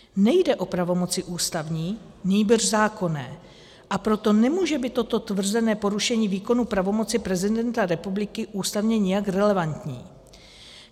Nejde o pravomoci ústavní, nýbrž zákonné, a proto nemůže být toto tvrzené porušení výkonu pravomoci prezidenta republiky ústavně nijak relevantní.